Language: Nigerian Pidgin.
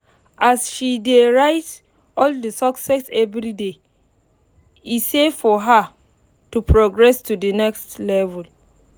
as she dey write all the success everyday e say for her to progress to the next level